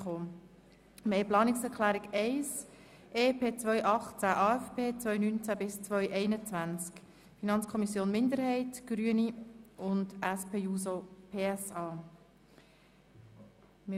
Wir stimmen über die Planungserklärung 1 EP 2018, AFP 2019–2021 der FiKo-Minderheit, der Grünen und der SP-JUSO-PSA ab.